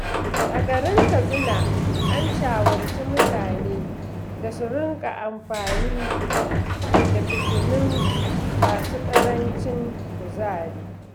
A garin Katsina, an shawarci mutane su rinka amfani da fitilu masu ƙarancin kuzari.